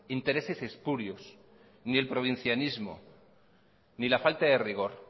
intereses espurios ni el provincianismo ni la falta de rigor